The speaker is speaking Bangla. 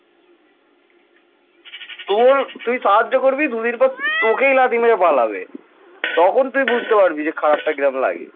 তখন তুই বুঝতে পারবি খারাপটা কি রকম লাগে।